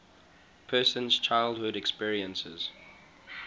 person's childhood experiences